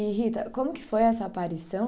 E Rita, como que foi essa aparição?